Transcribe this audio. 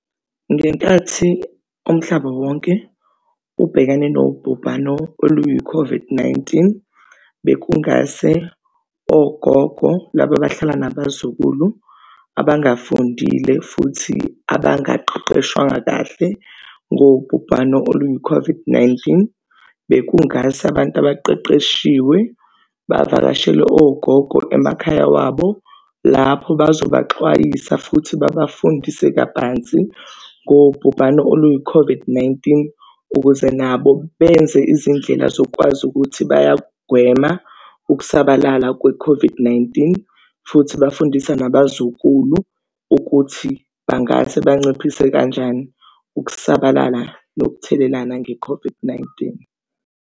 Ngenkathi umhlaba wonke ubhekane nobhubhano oluyi-COVID-19 bekungase ogogo, laba abahlala nabazukulu, abangafundile futhi abangaqeqeshwanga kahle ngobhubhano oluyi-COVID-19. Bekungasa abantu abaqeqeshiwe bavakashele ogogo emakhaya wabo, lapho bazobaxwayisa futhi babafundise kabanzi ngobhubhane oluyi-COVID-19, ukuze nabo benze izindlela zokwazi ukuthi bayakugwema ukusabalala kwe-COVID-19, futhi bafundisa nabazukulu ukuthi bangase banciphise kanjani ukusabalala yokuthelelana nge-COVID-19.